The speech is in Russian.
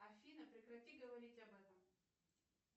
афина прекрати говорить об этом